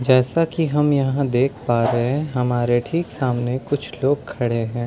जैसा कि हम यहां देख पा रहे हैं हमारे ठीक सामने कुछ लोग खड़े हैं।